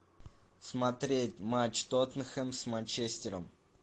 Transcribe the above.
смотреть матч тоттенхэм с манчестером